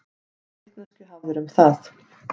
Hvaða vitneskju hafðirðu um það?